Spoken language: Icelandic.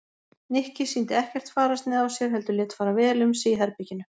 Nikki sýndi ekkert fararsnið á sér heldur lét fara vel um sig í herberginu.